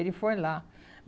Ele foi lá.